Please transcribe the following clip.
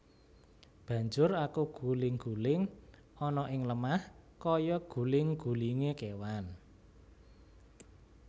Banjur aku guling guling ana ing lemah kaya guling gulingé kéwan